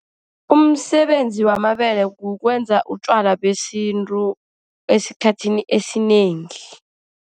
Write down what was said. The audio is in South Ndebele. Umsebenzi wamabele kukwenza utjwala besintu esikhathini esinengi.